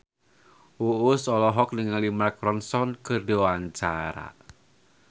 Uus olohok ningali Mark Ronson keur diwawancara